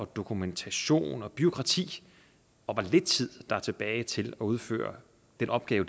dokumentation og bureaukrati og hvor lidt tid der er tilbage til at udføre de opgaver